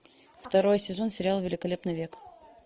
второй сезон сериала великолепный век